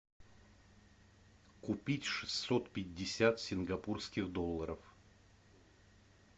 купить шестьсот пятьдесят сингапурских долларов